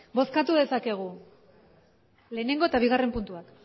bozkatu dezakegu lehenengo eta bigarren puntuak